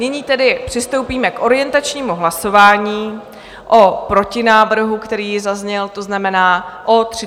Nyní tedy přistoupíme k orientačnímu hlasování o protinávrhu, který zazněl, to znamená o 30 dní.